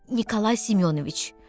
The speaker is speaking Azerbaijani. Nikolay Semyonoviç.